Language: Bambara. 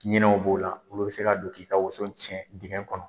Ɲinɛw b'o la olu bɛ se ka don k'i ka woso tiɲɛ dingɛ kɔnɔ.